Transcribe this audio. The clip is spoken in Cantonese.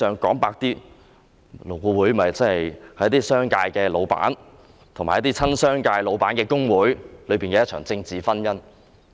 坦白說，勞顧會是一些商界老闆和親商界老闆的工會的"政治婚姻"。